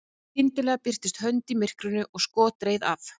skyndilega birtist hönd í myrkrinu og skot reið af